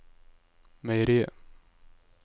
meieriet